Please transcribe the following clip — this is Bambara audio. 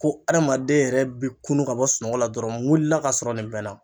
Ko adamaden yɛrɛ bɛ kunun ka bɔ sunɔgɔ la dɔrɔn n wulila ka sɔrɔ nin bɛ n na.